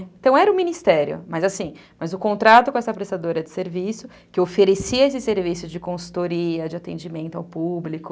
Então era o Ministério, mas assim, o contrato com essa prestadora de serviço, que oferecia esse serviço de consultoria, de atendimento ao público.